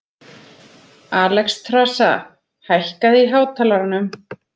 Alexstrasa, hækkaðu í hátalaranum.